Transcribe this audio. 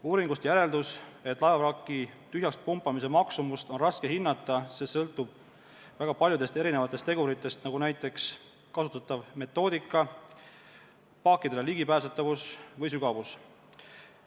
Uuringust järeldus, et laevavraki tühjaks pumpamise maksumust on raske hinnata, see sõltub väga paljudest erinevatest teguritest, näiteks kasutatavast metoodikast, paakidele ligipääsetavusest ja veesügavusest.